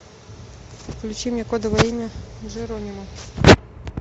включи мне кодовое имя джеронимо